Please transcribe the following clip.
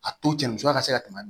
A to cɛ musoya ka se ka tɛmɛ